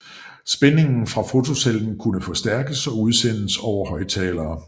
Spændingen fra fotocellen kunne forstærkes og udsendes over højttalere